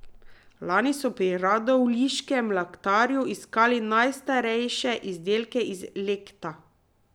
Lani so pri radovljiškem Lectarju iskali najstarejše izdelke iz lecta.